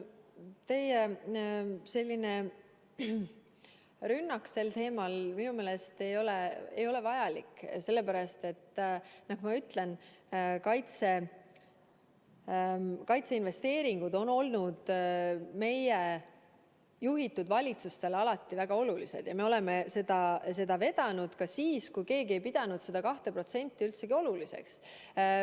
Teie selline rünnak sel teemal minu meelest ei ole vajalik, sellepärast ma ütlen, et kaitseinvesteeringud on olnud meie juhitud valitsustele alati väga olulised ja me oleme seda teemat vedanud ka siis, kui keegi ei pidanud seda 2% üldsegi oluliseks.